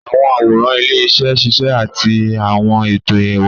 Àwọn àwòrán ilé-iṣẹ́ ń ṣiṣẹ́ àti àwọn ètò ẹwà.